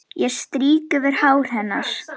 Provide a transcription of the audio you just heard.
Ég strýk yfir hár hennar.